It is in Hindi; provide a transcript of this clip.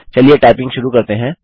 चलिए टाइपिंग शुरू करते हैं